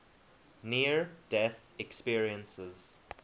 near death experiences